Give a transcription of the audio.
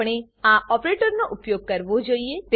આપણે આ ઓપરેટરનો ઉપયોગ કરવો જોઈએ